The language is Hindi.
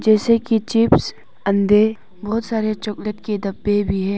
जैसे की चिप्स अंडे बहोत सारे चॉकलेट के डब्बे भी है।